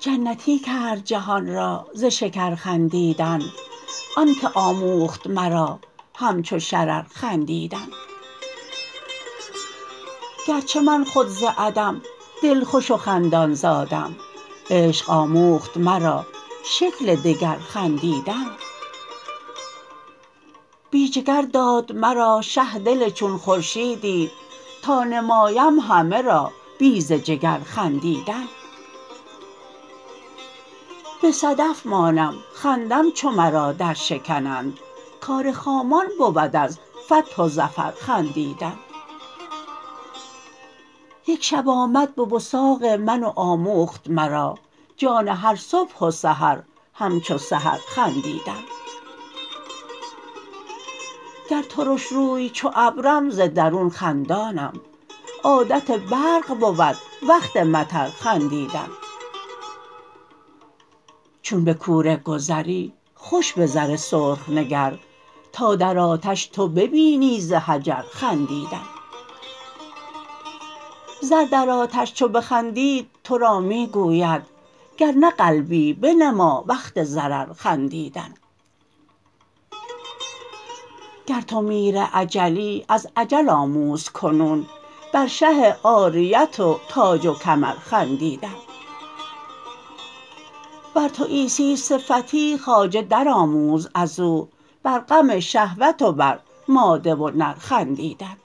جنتی کرد جهان را ز شکر خندیدن آنک آموخت مرا همچو شرر خندیدن گرچه من خود ز عدم دلخوش و خندان زادم عشق آموخت مرا شکل دگر خندیدن بی جگر داد مرا شه دل چون خورشیدی تا نمایم همه را بی ز جگر خندیدن به صدف مانم خندم چو مرا درشکنند کار خامان بود از فتح و ظفر خندیدن یک شب آمد به وثاق من و آموخت مرا جان هر صبح و سحر همچو سحر خندیدن گر ترش روی چو ابرم ز درون خندانم عادت برق بود وقت مطر خندیدن چون به کوره گذری خوش به زر سرخ نگر تا در آتش تو ببینی ز حجر خندیدن زر در آتش چو بخندید تو را می گوید گر نه قلبی بنما وقت ضرر خندیدن گر تو میر اجلی از اجل آموز کنون بر شه عاریت و تاج و کمر خندیدن ور تو عیسی صفتی خواجه درآموز از او بر غم شهوت و بر ماده و نر خندیدن